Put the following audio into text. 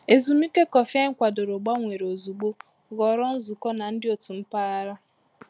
Ezumike kọfị anyị kwadoro gbanwere ozugbo ghọrọ nzukọ na ndị òtù mpaghara.